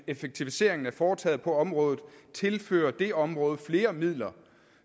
effektiviseringen er foretaget på området tilføre det område flere midler